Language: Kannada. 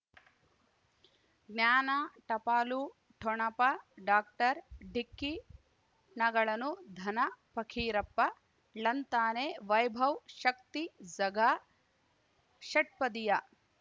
ಜ್ಞಾನ ಟಪಾಲು ಠೊಣಪ ಡಾಕ್ಟರ್ ಢಿಕ್ಕಿ ಣಗಳನು ಧನ ಫಕೀರಪ್ಪ ಳಂತಾನೆ ವೈಭವ್ ಶಕ್ತಿ ಝಗಾ ಷಟ್ಪದಿಯ